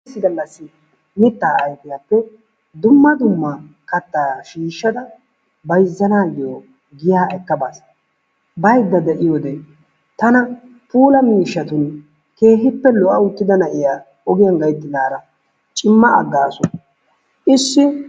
Issi gallassi mittaa ayifiyappe dumma dumma kattaa shiishshada bayizzanaayyo giyaa ekkabaas. Bayidda de'iyodee tana puula miishshatun keehippe lo'a uttida na'iya ogiyan gayittidara cimma aggaasu ishshi.